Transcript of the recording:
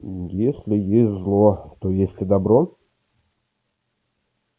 если есть зло то есть и добро